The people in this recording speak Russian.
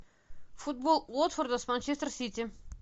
футбол уотфорда с манчестер сити